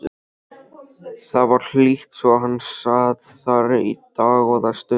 Það var hlýtt svo hann sat þar í dágóða stund.